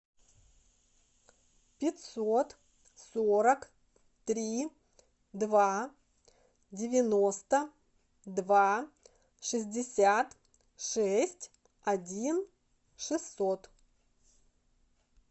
пятьсот сорок три два девяносто два шестьдесят шесть один шестьсот